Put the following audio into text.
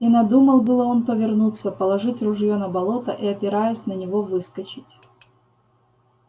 и надумал было он повернуться положить ружьё на болото и опираясь на него выскочить